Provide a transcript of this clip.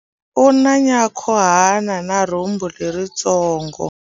U na nyankhuhana na rhumbu leritsongo.